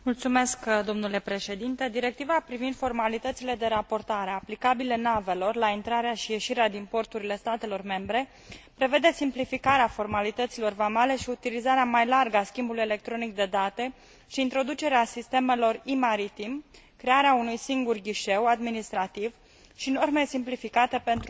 Directiva privind formalitățile de raportare aplicabile navelor la intrarea și ieșirea din porturile statelor membre prevede simplificarea formalităților vamale, utilizarea mai largă a schimbului electronic de date și introducerea sistemelor e maritim, crearea unui singur ghișeu administrativ și norme simplificate pentru mărfurile periculoase.